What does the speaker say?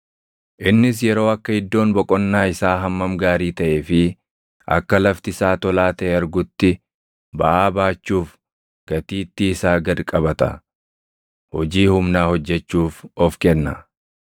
Innis yeroo akka iddoon boqonnaa isaa hammam gaarii taʼee fi akka lafti isaa tolaa taʼe argutti baʼaa baachuuf gatiittii isaa gad qabata; hojii humnaa hojjechuuf of kenna.